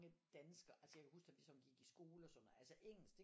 Danskere altså jeg kan jo huske da vi sådan gik i skole og sådan noget altså engelsk det